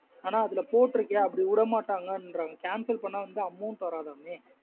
அனா அதுல போட்ருக்கேஅப்டி வுடா மாட்டாங்கானரங்கக cancel பண்ண வந்து amount வராதாமே.